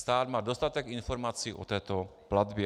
Stát má dostatek informací o této platbě.